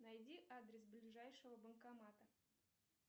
найди адрес ближайшего банкомата